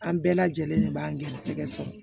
An bɛɛ lajɛlen de b'an garisɛgɛ sɔrɔ